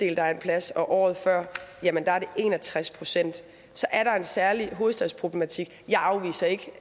er en plads og året før var det en og tres procent så er der en særlig hovedstadsproblematik jeg afviser ikke